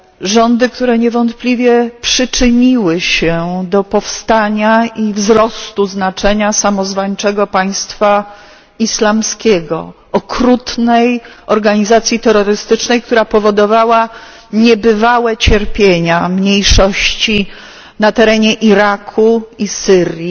Rządy, które niewątpliwie przyczyniły się do powstania i wzrostu znaczenia samozwańczego Państwa Islamskiego, okrutnej organizacji terrorystycznej, która powodowała niebywałe cierpienia mniejszości na terenie Iraku i Syrii